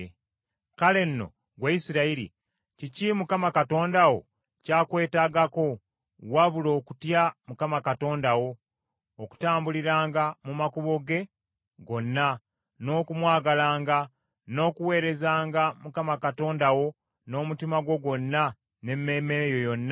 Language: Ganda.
Kale nno, ggwe Isirayiri, kiki Mukama Katonda wo ky’akwetaagako wabula okutya Mukama Katonda wo, okutambuliranga mu makubo ge gonna, n’okumwagalanga, n’okuweerezanga Mukama Katonda wo n’omutima gwo gwonna n’emmeeme yo yonna,